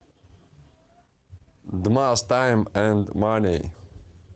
дмас тайм энд мани